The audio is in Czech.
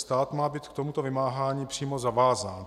Stát má být k tomuto vymáhání přímo zavázán.